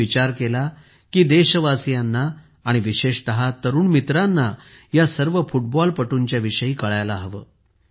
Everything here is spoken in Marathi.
मी विचार केला की देशवासीयांना आणि विशेषत तरुण मित्रांना ह्या सर्व फुटबॉलपटूंच्या विषयी कळायला हवे